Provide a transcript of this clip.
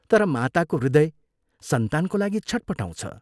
क्रोधको मात्रा अलिक घटेपछि ललितसिंहले गृहिणीलाई भने, " खोइ, चिया ल्याउ